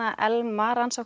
Elma